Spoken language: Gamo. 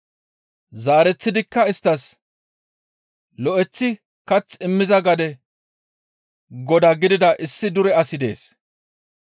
Zaareththidikka isttas, «Lo7eththi kath immiza gade godaa gidida issi dure asi dees.